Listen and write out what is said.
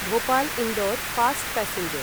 Bhopal Indore fast passenger